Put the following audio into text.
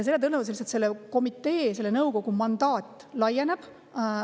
Tõenäoliselt lihtsalt selle komitee, nõukogu mandaat laieneb.